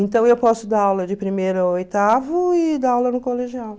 Então eu posso dar aula de primeira ao oitavo e dar aula no colegial.